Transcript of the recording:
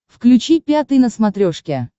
включи пятый на смотрешке